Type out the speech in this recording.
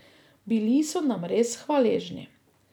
Bili so nam res hvaležni.